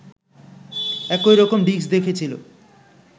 একই রকম ডিস্ক দেখেছিল